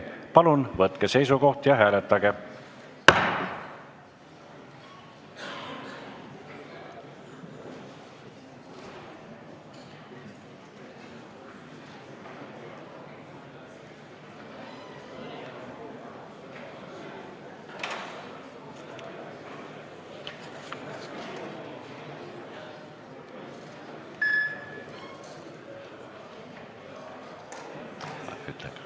Palun võtke seisukoht ja hääletage!